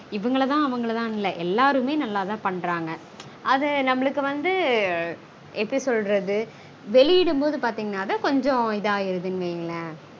இவங்களதா அவங்களதானு இல்ல. எல்லாருமே நல்லாதா பண்றாங்க. அத நம்மளுக்கு வந்து வெளியிடும்போது பாத்தீங்கனா கொஞ்சம் இதாயிடுதுனு வையுங்களேம்